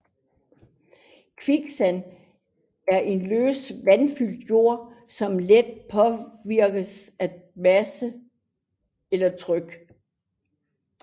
Kviksand er en løs vandfyldt jord som let påvirkes af masse eller tryk